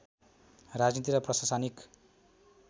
राजनीति र प्रशासनिक